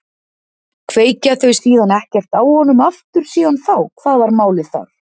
Kveikja þau síðan ekkert á honum aftur síðan þá, hvað var málið þar?